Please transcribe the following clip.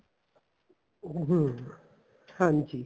ਹਮ ਹਾਂਜੀ